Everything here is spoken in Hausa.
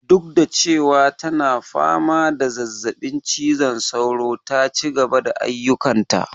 Duk da cewa tana fama da zazzaɓin cizon sauro ta cigaba da ayyukan ta